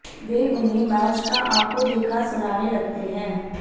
वे उन्हें मैच का आखों देखा सुनाने लगते हैं